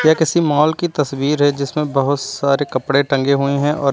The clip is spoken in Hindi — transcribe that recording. यह किसी मॉल की तस्वीर है जिसमें बहुत सारे कपड़े टंगे हुए हैं और--